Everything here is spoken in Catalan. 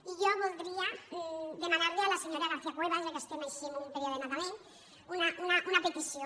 i jo voldria demanar li a la senyora garcia cuevas ja que estem així en un període nadalenc una petició